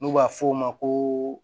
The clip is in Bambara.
N'u b'a f'o ma ko